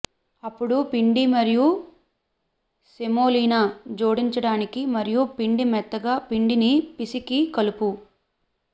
అప్పుడు పిండి మరియు సెమోలినా జోడించడానికి మరియు పిండి మెత్తగా పిండిని పిసికి కలుపు